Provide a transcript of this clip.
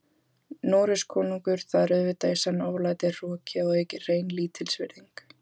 Noregskonungur, það er auðvitað í senn oflæti, hroki og að auki hrein lítilsvirðing.